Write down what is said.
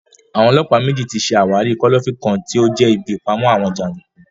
Àwọn ọlọ́pàá méjì tí ṣe àwárí kọ́lọ́fín kan tí ó jẹ́ ibí ìpamọ àwọn jàndùkú